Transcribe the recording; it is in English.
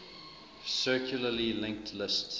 circularly linked list